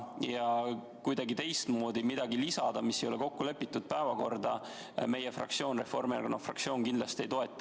Ettepanekut kuidagi teistmoodi lisada päevakorda midagi, mis ei ole kokku lepitud, Reformierakonna fraktsioon kindlasti ei toeta.